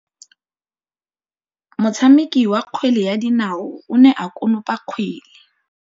Motshameki wa kgwele ya dinaô o ne a konopa kgwele.